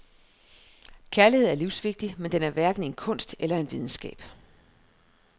Kærlighed er livsvigtig, men den er hverken en kunst eller en videnskab.